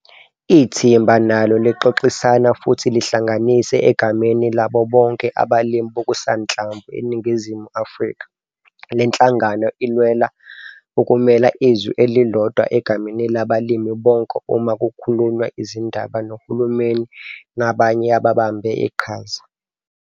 Ithimba nalo lixoxisana futhi lihlanganise egameni labo BONKE abalimi bokusanhlamvu eNingizimu Afrika. Le nhlangano ilwela ukumela izwi elilodwa egameni labalimi bonke uma kukhulunywa izindaba nohulumeni nabanye ababambe iqhaza.